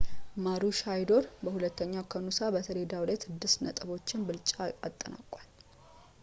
ማሩሻይዶር በሁለተኛው ከኑሳ በሰሌዳው ላይ ስድስት ነጥቦችን ብልጫ አጠናቋል